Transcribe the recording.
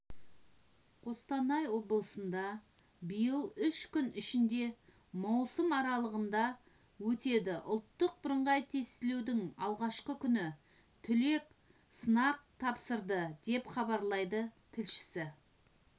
қостанай облысында биыл үш күн ішінде маусым аралығында өтеді ұлттық бірыңғай тестілеудің алғашқы күні түлек сынақ тапсырды деп хабарлайды тілшісі